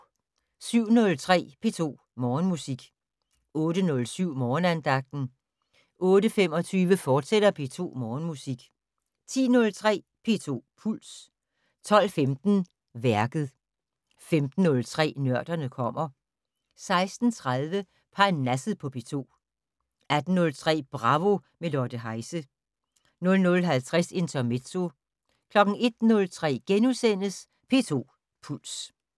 07:03: P2 Morgenmusik 08:07: Morgenandagten 08:25: P2 Morgenmusik, fortsat 10:03: P2 Puls 12:15: Værket 15:03: Nørderne kommer 16:30: Parnasset på P2 18:03: Bravo - med Lotte Heise 00:50: Intermezzo 01:03: P2 Puls *